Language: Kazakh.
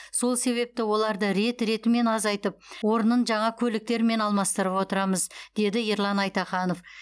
сол себепті оларды рет ретімен азайтып орнын жаңа көліктермен алмастырып отырамыз деді ерлан айтаханов